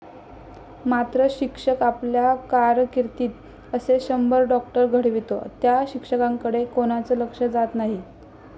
मात्र शिक्षक आपल्या कारकीर्दीत असे शंभर डॉक्टर घडवितो त्या शिक्षकाकडे कोणाचं लक्ष जात नाही.